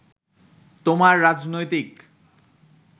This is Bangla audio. তোমার রাজনৈতিক